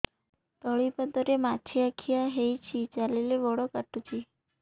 ତଳିପାଦରେ ମାଛିଆ ଖିଆ ହେଇଚି ଚାଲିଲେ ବଡ଼ କାଟୁଚି